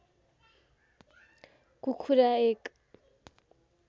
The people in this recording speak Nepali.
कुखुरा एक